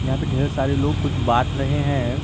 यहां पे ढेर सारे लोग कुछ बांट रहे हैं।